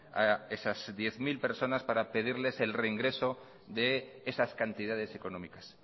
a esas diez mil personas para pedirles el reingreso de esas cantidades económicas